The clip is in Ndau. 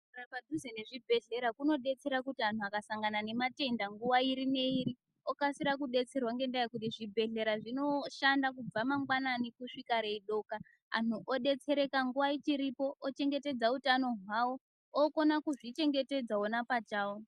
Kugara padhuze nezvibhedhlera zvinodetsera kuti antu akasangana nematenda nguwa iri neiri okasira kudetserwa ngenda yekuti zvibhedhlera zvinoshanda kubva mangwanani kusvika reidoka anhu odetsereka nguwa ichiripo eichengetedza hutano hwawo okona kuzvichengetedza iwo pachawo.